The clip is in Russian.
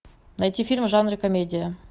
найти фильм в жанре комедия